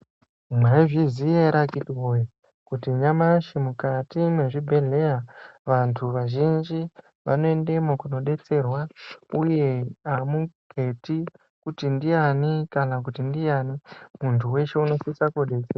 Mwaizvizya ere akhiti woye kuti nyamashi mukati mwezvibhedhleya vantu vazhinji vanoendemwo koodetserwa. Uye hamuketi kuti ndiyani kana kuti ndiyani, muntu weshe unosisa kudetse...